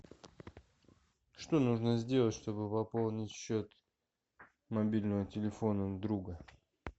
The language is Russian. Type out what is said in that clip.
что нужно сделать чтобы пополнить счет мобильного телефона друга